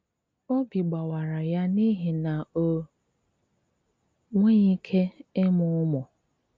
Ọ́bí gbàwárà yá n’íhì ná ó nwéghi íké ímụ ụmụ́.